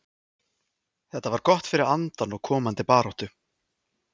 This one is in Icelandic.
Þetta var gott fyrir andann og komandi baráttu.